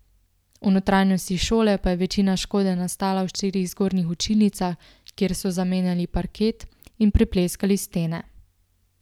V notranjosti šole pa je večina škode nastala v štirih zgornjih učilnicah, kjer so zamenjali parket in prepleskali stene.